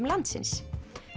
landsins